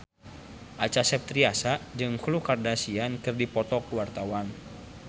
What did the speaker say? Acha Septriasa jeung Khloe Kardashian keur dipoto ku wartawan